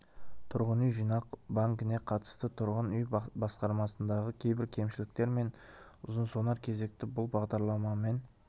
тұрғын үй жинақ банкіне қатысты тұрғын үй басқармасындағы кейбір кемшіліктер мен ұзын-сонар кезекті бұл бағдарламамен